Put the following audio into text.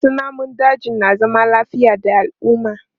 Wasu namun dajin na zama lafiya da al'umma.